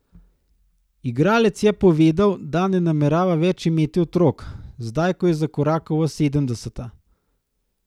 Igralec je povedal, da ne namerava več imeti otrok, zdaj ko je zakorakal v sedemdeseta.